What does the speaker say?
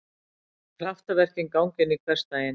Kraftaverkin ganga inn í hversdaginn.